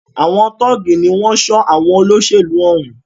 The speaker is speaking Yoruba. Àwọn tọ́ọ̀gì ní wọ́n ń ṣọ́ àwọn olóṣèlú òún.